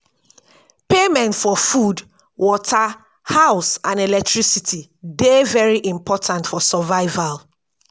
payment for food water house and electricity dey very important for survival